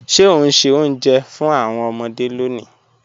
Ṣẹ o n ṣẹ́ ọ̀unjẹ́ fún awọn ọmọde lónì?